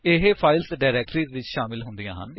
ਇਹ files directories ਵਿੱਚ ਸ਼ਾਮਿਲ ਹੁੰਦੀਆਂ ਹਨ